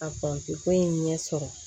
A fan ko in ɲɛ sɔrɔ